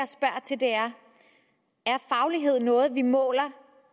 er faglighed noget vi måler